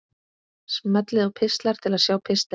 Smellið á Pistlar til að sjá pistilinn.